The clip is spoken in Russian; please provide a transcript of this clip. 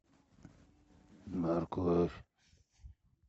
морковь